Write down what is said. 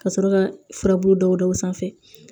Ka sɔrɔ ka furabulu dɔw da o sanfɛ